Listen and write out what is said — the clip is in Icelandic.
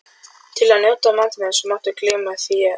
Til að njóta matarins máttu gleyma þér um stund